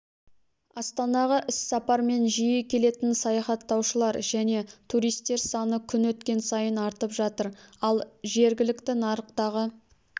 астанаға іссапармен жиі келетін саяхаттаушылар және туристер саны күн өткен сайын артып жатыр ал жергілікті нарықтағы